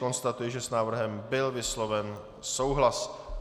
Konstatuji, že s návrhem byl vysloven souhlas.